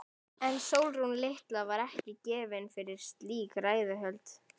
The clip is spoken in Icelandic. En Sólrún litla var ekki gefin fyrir slík ræðuhöld.